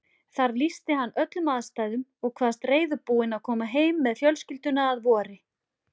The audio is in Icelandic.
Þar lýsti hann öllum aðstæðum og kvaðst reiðubúinn að koma heim með fjölskylduna að vori.